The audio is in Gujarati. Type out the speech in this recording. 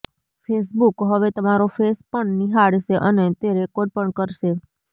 ફેસબુક હવે તમારો ફેસ પણ નિહાળશે અને તે રેકોર્ડ પણ કરશે